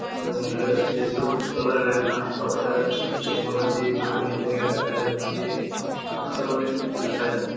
জঙ্গলের কাছে সবুজ কালার -এর গাছ পালা দেখা যাচ্ছে। জঙ্গল আছে জমি জায়গা দেখা যাচ্ছে। আরো অনেক কিছু দেখা যাচ্ছ--